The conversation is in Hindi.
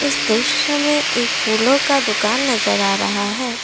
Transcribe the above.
इस दृश्य में एक फूलों का दुकान नजर आ रहा है।